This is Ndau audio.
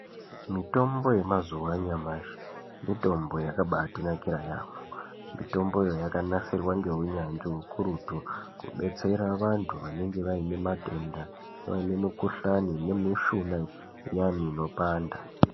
Mitombo yemazuva anyamashi mitombo yakabatinakira yambo Mititombo iyi yakanasirwa nehunyanzvi ukurutu Kudetsera vantu vanenge vane matenda vaone mikuhlani nemishuna iyani inopanda.